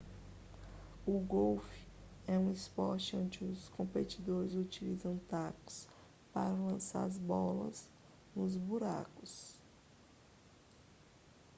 o golfe é um esporte onde os competidores utilizam tacos para lançar as bolas nos buracos